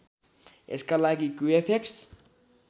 यसका लागि क्युएफएक्स